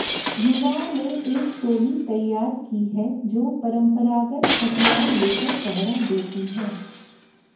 युवाओं ने एक टोली तैयार की है जो परंपरागत हथियार लेकर पहरा देती है